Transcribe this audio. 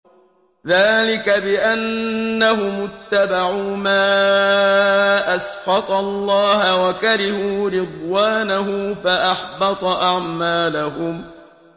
ذَٰلِكَ بِأَنَّهُمُ اتَّبَعُوا مَا أَسْخَطَ اللَّهَ وَكَرِهُوا رِضْوَانَهُ فَأَحْبَطَ أَعْمَالَهُمْ